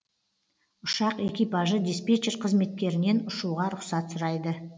ұшақ экипажы диспетчер қызметкерінен ұшуға рұқсат сұрайды